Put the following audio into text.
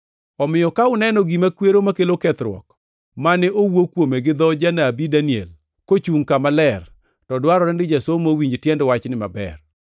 “Omiyo ka uneno gima kwero makelo kethruok, + 24:15 \+xt Dan 9:27; 11:31; 12:11\+xt* mane owuo kuome gi dho janabi Daniel, kochungʼ kama ler, to dwarore ni jasomo owinj tiend wachni maber;